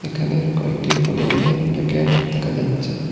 এখানে কয়েকটি পলিটিনের প্যাকেট দেখা যাচ্ছে।